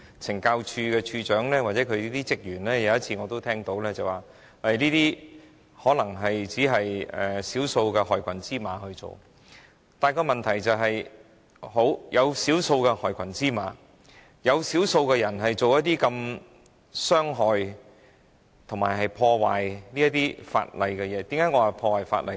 懲教署署長或懲教署人員或說，這可能只是少數害群之馬的行為，但問題是，少數害群之馬這樣傷害他人也屬違法行為。